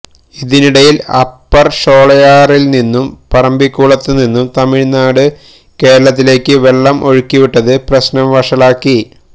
ഇതിനിടയില് Upper ഷോളയാറില് നിന്നും പറമ്പിക്കുളത്ത് നിന്നും തമിഴ്നാട് കേരളത്തിലേക്ക് വെള്ളം ഒഴുക്കിവിട്ടത് പ്രശ്നം വഷളാക്കി